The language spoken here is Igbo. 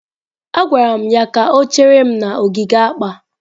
Agwara m ya ka o chere m n'ogige akpa.